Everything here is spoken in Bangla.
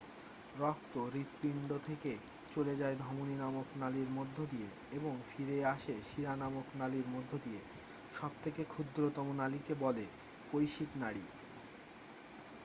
রক্ত হৃৎপিণ্ড থেকে চলে যায় ধমনী নামক নলির মধ্য দিয়ে এবং ফিরে আসে শিরা নামক নলির মধ্য দিয়ে সব থেকে ক্ষুদ্রতম নলিকে বলে কৈশিক নাড়ী